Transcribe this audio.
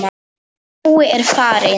Nói er farinn.